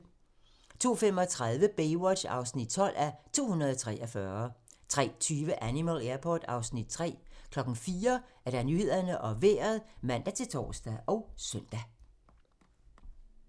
02:35: Baywatch (12:243) 03:20: Animal Airport (Afs. 3) 04:00: Nyhederne og Vejret (man-tor og søn)